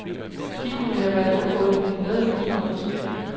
De kunne have været undgået ved en bedre vedligeholdelse.